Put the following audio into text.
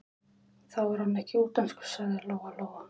Þá er hann ekkert útlenskur, sagði Lóa Lóa.